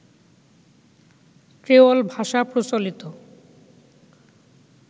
creole ভাষা প্রচলিত